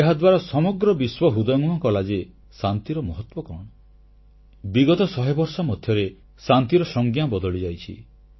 ଏହାଦ୍ୱାରା ସମଗ୍ର ବିଶ୍ୱ ହୃଦୟଙ୍ଗମ କଲା ଯେ ଶାନ୍ତିର ମହତ୍ୱ କଣ ବିଗତ 100 ବର୍ଷ ମଧ୍ୟରେ ଶାନ୍ତିର ସଂଜ୍ଞା ବଦଳିଯାଇଛି